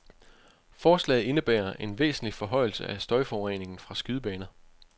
Forslaget indebærer en væsentlig forhøjelse af støjforureningen fra skydebaner.